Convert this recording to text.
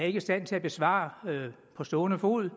ikke i stand til at besvare på stående fod